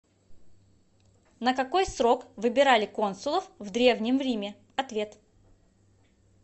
на какой срок выбирали консулов в древнем риме ответ